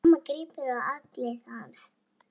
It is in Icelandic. Mamma grípur um axlir hans.